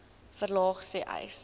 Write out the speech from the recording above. verlaag sê uys